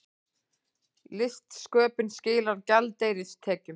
Listsköpun skilar gjaldeyristekjum